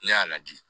Ne y'a ladi